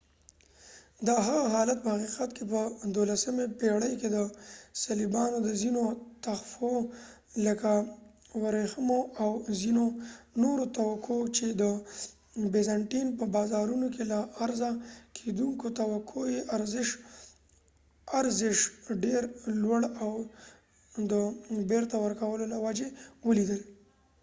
د هغه حالت په حقیقت کې په دولسمې پیړۍ کې د صلیبیانو د ځینو تحفو لکه وریښمو او ځینو نورو توکو چې د بیزنټین په بازارونو کې له عرضه کیدونکو توکو یې ارزش ډير لوړ وو د بیرته ورکولو له وجې ولوېدل